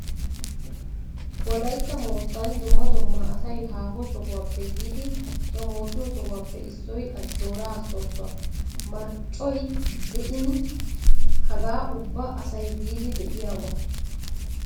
Wolaytta moottan dumma dumma asay haaho sohuwappe yiidi xomoosiyo sohuwappe issoy Ajjioraa soossuwa. Marccoy de'in hagaa ubba asay biidi be'iyoba!